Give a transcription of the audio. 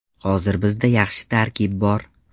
Hozir bizda yaxshi tarkib bor.